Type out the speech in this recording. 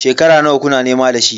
Shekara nawa kuna nema da shi?